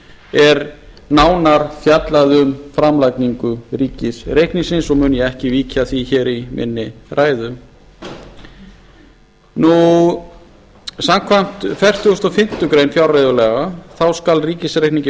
er nánar fjallað um framlagningu ríkisreikningsins og mun ég ekki víkja að því hér í minni ræðu samkvæmt fertugustu og fimmtu grein fjárreiðulaga númer áttatíu og átta nítján hundruð níutíu og sjö skal ríkisreikningi